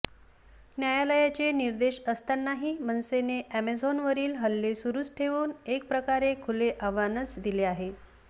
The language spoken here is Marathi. न्यायालयाचे निर्देश असतानाही मनसेने अॅमेझॉनवरील हल्ले सुरूच ठेवून एकप्रकारे खुले आव्हानच दिले आहे